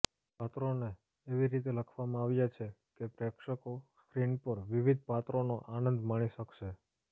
પાત્રોને એવી રીતે લખવામાં આવ્યા છે કે પ્રેક્ષકો સ્ક્રીન પર વિવિધ પાત્રોનો આનંદ માણી શકશે